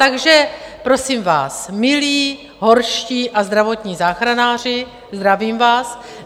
Takže prosím vás, milí horští a zdravotní záchranáři, zdravím vás.